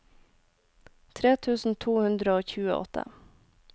tre tusen to hundre og tjueåtte